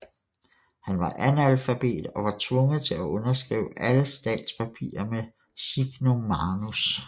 Han var analfabet og var tvunget til at underskrive alle statspapirer med signum manus